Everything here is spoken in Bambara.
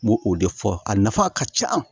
N m'o o de fɔ a nafa ka ca